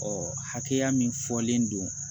Ɔ hakɛya min fɔlen don